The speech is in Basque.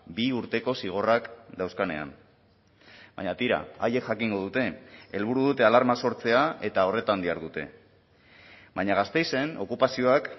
bi urteko zigorrak dauzkanean baina tira haiek jakingo dute helburu dute alarma sortzea eta horretan dihardute baina gasteizen okupazioak